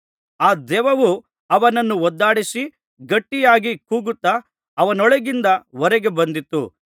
ಆ ದೆವ್ವವು ಅವನನ್ನು ಒದ್ದಾಡಿಸಿ ಗಟ್ಟಿಯಾಗಿ ಕೂಗುತ್ತಾ ಅವನೊಳಗಿಂದ ಹೊರಗೆ ಬಂದಿತು